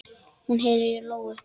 Hún heyrir í lóu.